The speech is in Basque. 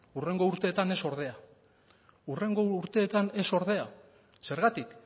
hurrengo urteetan ez ordea hurrengo urteetan ez ordea zergatik